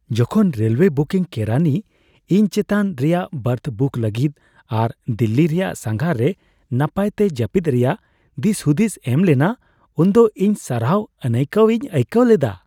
ᱡᱚᱠᱷᱚᱱ railway booking ᱠᱮᱨᱟᱱᱤ ᱤᱧ ᱪᱮᱛᱟᱱ ᱨᱮᱭᱟᱜ ᱵᱟᱨᱛᱷ ᱵᱩᱠ ᱞᱟᱹᱜᱤᱫ ᱟᱨ ᱫᱤᱞᱞᱤ ᱨᱮᱭᱟᱜ ᱥᱟᱸᱜᱷᱟᱨ ᱨᱮ ᱱᱟᱯᱟᱭᱛᱮ ᱡᱟᱹᱯᱤᱫ ᱨᱮᱭᱟᱜ ᱫᱤᱥᱦᱩᱫᱤᱥᱮ ᱮᱢ ᱞᱮᱱᱟ ᱩᱱᱫᱚ ᱤᱧ ᱥᱟᱨᱦᱟᱣ ᱟᱹᱱᱟᱹᱭᱠᱟᱹᱣ ᱤᱧ ᱟᱭᱠᱟᱹᱣ ᱞᱮᱫᱟ ᱾